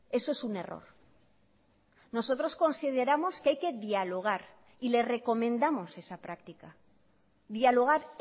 eso es un error nosotros consideramos que hay que dialogar y le recomendamos esa práctica dialogar